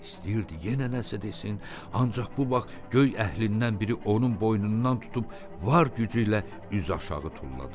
İstəyirdi yenə nəsə desin, ancaq bu vaxt göy əhlindən biri onun boynundan tutub var gücü ilə üzüaşağı tulladı.